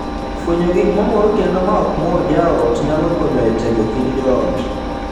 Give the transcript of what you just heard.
Fwenyo gik mamoro kendo ma ok mor jaot nyalo konyo e tego kind joot.